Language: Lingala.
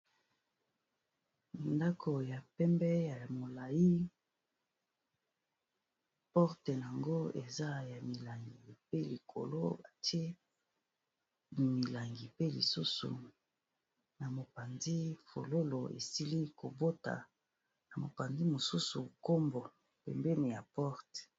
Ndako ya pembe ya molayi porte nango eza ya milangi pe likolo atie milangi. Pe lisusu na mopanzi fololo esili kobota na mopanzi, mosusu nkombo pembeni ya porte.